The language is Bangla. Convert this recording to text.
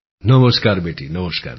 নমস্কার বেটি নমস্কার